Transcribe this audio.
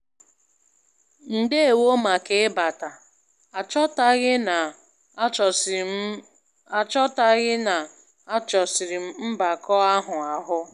Ndewo màkà ịbata, aghọtaghị na-achọsiri m aghọtaghị na-achọsiri m mbakọ àhụ́ áhụ̀.